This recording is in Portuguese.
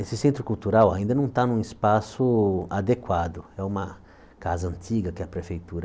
Esse centro cultural ainda não está num espaço adequado, é uma casa antiga que a prefeitura